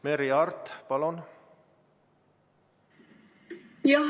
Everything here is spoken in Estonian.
Merry Aart, palun!